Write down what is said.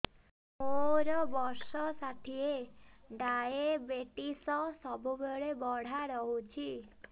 ମୋର ବର୍ଷ ଷାଠିଏ ଡାଏବେଟିସ ସବୁବେଳ ବଢ଼ା ରହୁଛି